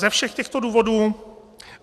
Ze všech těchto důvodů...